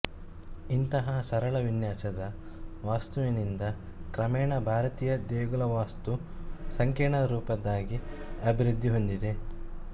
ಇಂತಹ ಸರಳ ವಿನ್ಯಾಸದ ವಾಸ್ತುವಿನಿಂದ ಕ್ರಮೇಣ ಭಾರತೀಯ ದೇಗುಲವಾಸ್ತು ಸಂಕೀರ್ಣರೂಪದ್ದಾಗಿ ಅಭಿವೃದ್ಧಿಹೊಂದಿದೆ